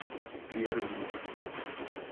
перми